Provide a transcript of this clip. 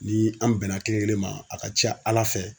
Ni an bɛnna kelen kelen ma a ka ca ALA fɛ.